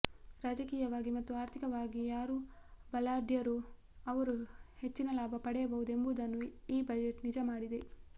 ರಾಜಕೀಯವಾಗಿ ಮತ್ತು ಆರ್ಥಿಕವಾಗಿ ಯಾರು ಬಲಾಢ್ಯರೋ ಅವರು ಹೆಚ್ಚಿನ ಲಾಭ ಪಡೆಯಬಹುದು ಎಂಬುದನ್ನು ಈ ಬಜೆಟ್ ನಿಜ ಮಾಡಿದೆ